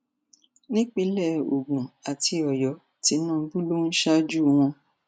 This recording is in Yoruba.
nípínlẹ ogun àti ọyọ tìǹbù ló ń ṣáájú wọn